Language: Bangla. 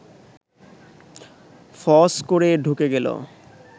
ফস করে ঢুকে গেল